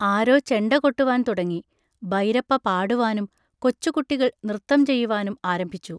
ആരോ ചെണ്ടകൊട്ടുവാൻ തുടങ്ങി. ബൈരപ്പ പാടുവാനും കൊച്ചുകുട്ടികൾ നൃത്തം ചെയ്യുവാനും ആരംഭിച്ചു.